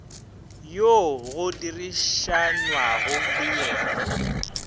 yoo go dirišanwago le yena